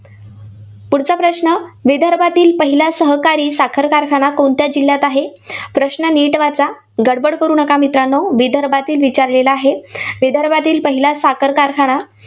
पुढचा प्रश्न, विदर्भातील पहिल्या सहकारी साखर कारखाना कोणत्या जिल्ह्यात आहे? प्रश्न नीट वाचा. गडबड करू नका मित्रांनो. विदर्भातील विचारलेला आहे. विदर्भातील पहिला साखर कारखाना